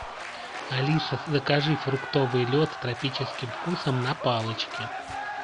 алиса закажи фруктовый лед с тропическим вкусом на палочке